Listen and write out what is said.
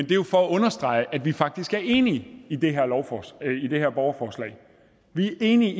gjort for at understrege at vi faktisk er enige i det i det her borgerforslag vi er enige